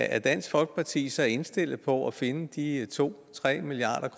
er dansk folkeparti så indstillet på at finde de to tre milliard